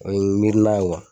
O ye miirina ye kuwa!